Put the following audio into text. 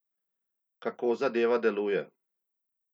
Kako zadeva deluje?